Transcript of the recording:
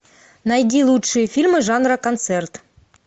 найди лучшие фильмы жанра концерт